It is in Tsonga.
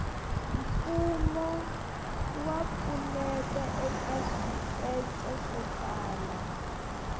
mfumo wa pfuneta eka swikece swo tala